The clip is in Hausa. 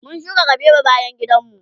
mun shuka kabewa bayan gidan mu